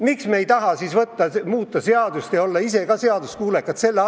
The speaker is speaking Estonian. Miks me ei taha siis muuta seadust ja olla ise ka seaduskuulekad?